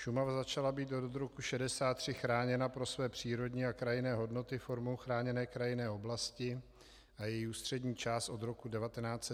Šumava začala být od roku 1963 chráněna pro své přírodní a krajinné hodnoty formou chráněné krajinné oblasti a její ústřední část od roku 1991 jako národní park.